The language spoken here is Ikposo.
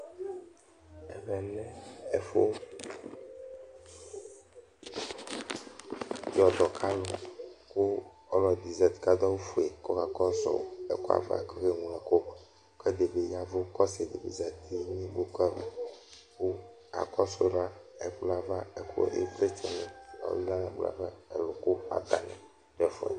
Ɛvɛ lɛ ɛfʋ yɔdɔkalʋ : kʋ ɔlɔdɩ zati k'adʋ awʋfue k'ɔka kɔsʋ ɛkʋɛ ava k'okeŋlo ɛkʋ K'ɛdɩ bɩ yɛvʋ , k'ɔsɩdɩ bɩ zati n'ikpoku ava ;kʋ akɔsʋ la, ɛkplɔɛ ava ɛkʋ ɩvlɩtsɛnɩ ɔlɛ n'ɛkplɔɛ ava ɛlʋ k'atanɩ dʋ ɛfʋɛ